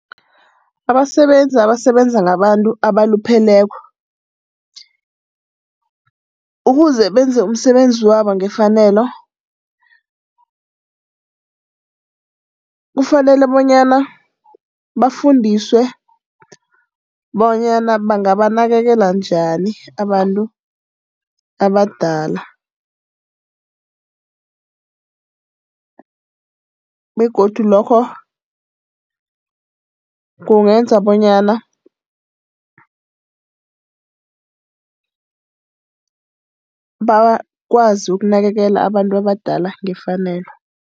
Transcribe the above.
Abasebenzi abasebenza ngabantu abalupheleko ukuze benze umsebenzi wabo ngefanelo, kufanele bonyana bafundiswe bonyana bangabanakekela njani abantu abadala. Begodu lokho kungenza bonyana bakwazi ukunakekela abantu abadala ngefanelo.